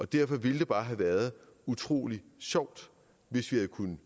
derfor ville det bare have været utrolig sjovt hvis vi kunne